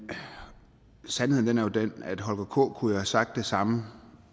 sandheden er jo den at holger k nielsen kunne have sagt det samme